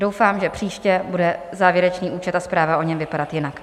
Doufám, že příště bude závěrečný účet a zpráva o něm vypadat jinak.